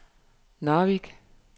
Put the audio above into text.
Narvik